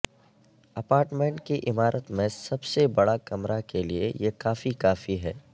apartment کی عمارت میں سب سے بڑا کمرہ کے لئے یہ کافی کافی ہے